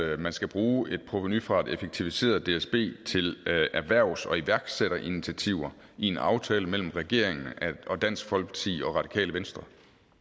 er at man skal bruge et provenu fra et effektiviseret dsb til erhvervs og iværksætterinitiativer i en aftale mellem regeringen og dansk folkeparti og radikale venstre